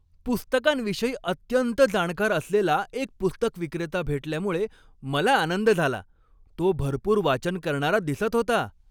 पुस्तकांविषयी अत्यंत जाणकार असलेला एक पुस्तक विक्रेता भेटल्यामुळे मला आनंद झाला. तो भरपूर वाचन करणारा दिसत होता.